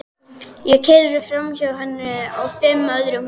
Ég keyri framhjá henni og fimm öðrum húsum.